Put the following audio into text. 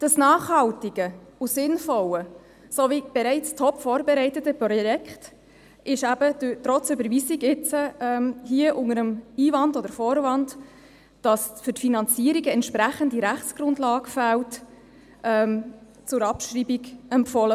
Das nachhaltige, sinnvolle und bereits top-vorbereitete Projekt ist eben trotz Überweisung jetzt hier unter dem Einwand oder Vorwand, wonach für die Finanzierungen eine entsprechende Rechtsgrundlage fehle, vom Regierungsrat zur Abschreibung empfohlen.